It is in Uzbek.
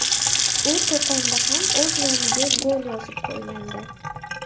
U Qo‘qonda ham o‘z nomiga gol yozib qo‘ygandi.